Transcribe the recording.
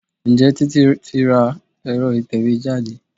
Ǹjẹ́ Títí tí ra èro ìtẹ̀wẹ́ jáde?